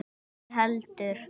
Ekki heldur